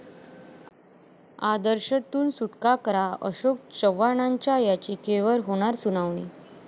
आदर्श'तून सुटका करा, अशोक चव्हाणांच्या याचिकेवर होणार सुनावणी